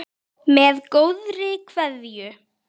Með góðri kveðju